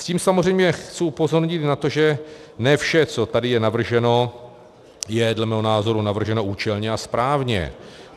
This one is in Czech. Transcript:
S tím samozřejmě chci upozornit na to, že ne vše, co je tady navrženo, je dle mého názoru navrženo účelně a správně.